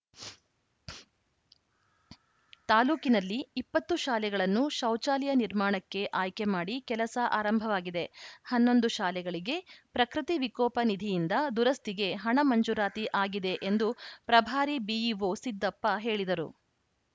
ತಾಲೂಕಿನಲ್ಲಿ ಇಪ್ಪತ್ತು ಶಾಲೆಗಳನ್ನು ಶೌಚಾಲಯ ನಿರ್ಮಾಣಕ್ಕೆ ಆಯ್ಕೆ ಮಾಡಿ ಕೆಲಸ ಆರಂಭವಾಗಿದೆ ಹನ್ನೊಂದು ಶಾಲೆಗಳಿಗೆ ಪ್ರಕೃತಿ ವಿಕೋಪ ನಿಧಿಯಿಂದ ದುರಸ್ತಿಗೆ ಹಣ ಮಂಜೂರಾತಿ ಆಗಿದೆ ಎಂದು ಪ್ರಭಾರಿ ಬಿಇಒ ಸಿದ್ದಪ್ಪ ಹೇಳಿದರು